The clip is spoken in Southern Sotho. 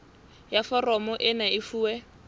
ya foromo ena e fuwe